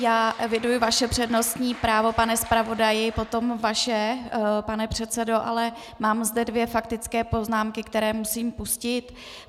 Já eviduji vaše přednostní právo, pane zpravodaji, potom vaše, pane předsedo, ale mám zde dvě faktické poznámky, které musím pustit.